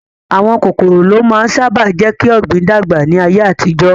Àwọn kòkòrò ló máa ń sáábà jékí Ògbìn dàgbà ní ayé àtijọ́